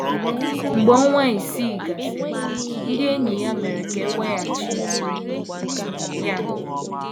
Mgbe ọnwa isii gasịrị, ndị enyi ya mere ka e weghachi ya.